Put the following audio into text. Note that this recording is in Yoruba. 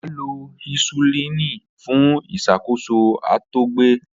A lo hisulini fun iṣakoso àtọgbẹ.